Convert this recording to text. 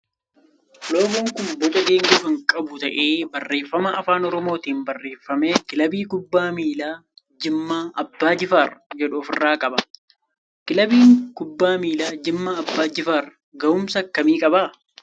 Loogoon kun boca geengoo kan qabu ta'ee barreeffama afaan oromootin barreeffame kilaabii kubbaa miilaa jimmaa abbaa jifaar jedhu of irraa qaba. Kilaabiin kubbaa miilaa jimmaa abbaa jifaar gahuumsa akkamii qaba?